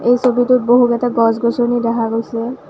এই ছবিটোত বহু কেইটা গছ-গছনি দেখা গৈছে।